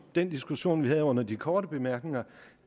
den diskussion vi havde under de korte bemærkninger